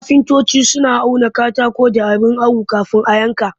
Kafintoci suna auna katako da abin awo kafin a yanka